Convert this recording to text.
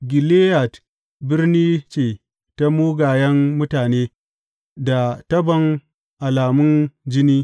Gileyad birni ce ta mugayen mutane, da tabon alamun jini.